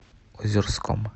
озерском